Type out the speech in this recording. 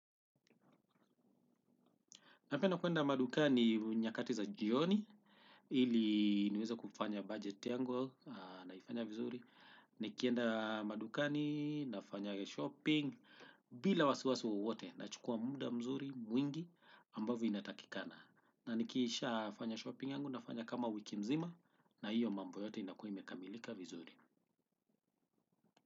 Napenda kuenda madukani nyakati za jioni, ili niweza kufanya bajeti yangu naifanya vizuri. Nikienda madukani nafanya shopping bila wasiwasi wowote na chukua muda mzuri mwingi ambavyo inatakikana. Na nikisha fanya shopping yangu nafanya kama wiki mzima na hiyo mambo yote inakuwaimekamilika vizuri.